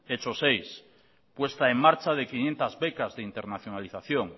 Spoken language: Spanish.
hecho seis puesta en marcha de quinientos becas de internacionalización